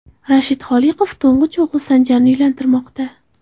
Rashid Xoliqov to‘ng‘ich o‘g‘li Sanjarni uylantirmoqda.